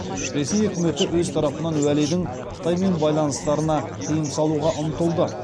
ресей өкіметі өз тарапынан уәлидің қытаймен байланыстарына тыйым салуға ұмтылды